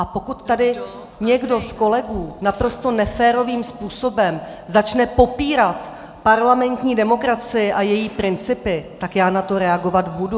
A pokud tady někdo z kolegů naprosto neférovým způsobem začne popírat parlamentní demokracii a její principy, tak já na to reagovat budu.